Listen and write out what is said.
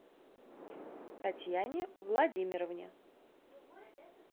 татьяне владимировне